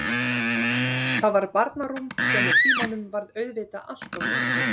Það var barnarúm sem með tímanum varð auðvitað allt of lítið.